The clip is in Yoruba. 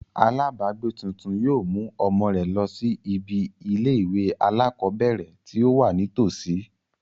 Alábàágbé tuntun yóò mú ọmọ rẹ̀ lọ sí ibi ilé ìwé alákọ̀ọ́bẹ̀ẹ̀rẹ̀ tí ó wà ní tọ̀sí.